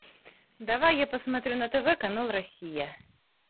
давай я посмотрю на тв канал россия